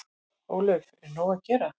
Ólöf: Er nóg að gera?